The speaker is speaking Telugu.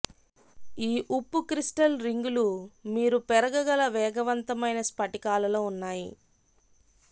ఈ ఉప్పు క్రిస్టల్ రింగులు మీరు పెరగగల వేగవంతమైన స్ఫటికాలలో ఉన్నాయి